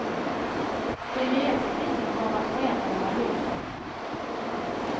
Den nya tekniken kommer att förändra våra liv.